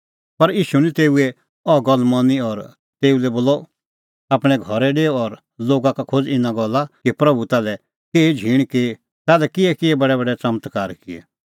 पर ईशू निं तेऊए अह गल्ल मनी और तेऊ लै बोलअ आपणैं घरै डेऊ और लोगा का खोज़ इना गल्ला कि प्रभू ताल्है केही झींण की और ताल्है किहै बडैबडै च़मत्कारे का किऐ